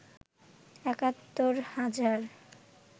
একাত্তর হাজার